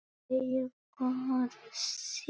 Þeir voru synir